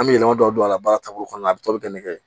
An bɛ yɛlɛma dɔ don ala taabolo kɔnɔna na a bi taa don nɛgɛ